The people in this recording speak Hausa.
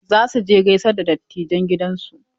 Za su je gaisar da dattijan gidansu.